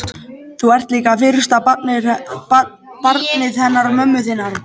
En þú ert líka fyrsta barnið hennar mömmu þinnar.